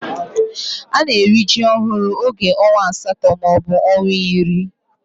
Ana eri ji ohuru oge onwa asato ma obu onwa iri.